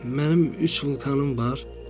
Mənim üç vulkanım var.